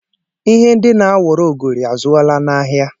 Ihe ndi na-awọrọ ogori azụọla n’ahịa